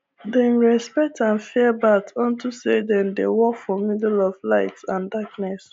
dem respect and fear bat unto say dem dey walk for middle of light and darkness